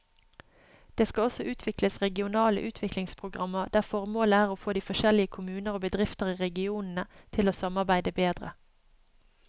Det skal også utvikles regionale utviklingsprogrammer der formålet er å få de forskjellige kommuner og bedrifter i regionene til å samarbeide bedre.